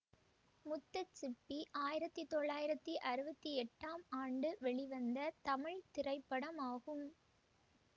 முத்துச் சிப்பி ஆயிரத்தி தொள்ளாயிரத்தி அறுபத்தி எட்டாம் ஆண்டு வெளிவந்த தமிழ் திரைப்படமாகும்